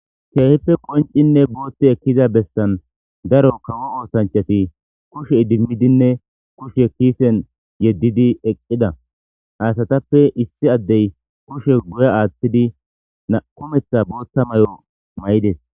Keehippe qoncinne boothte ekkiza bessan daro kawo oosanchati kushe idimmidinne kushe kiisen yeddidi eqqida aasatappe issi addey kushe guye aaththidi naqumetha booththa may7o may7ides